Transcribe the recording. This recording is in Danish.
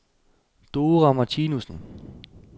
Dora Martinussen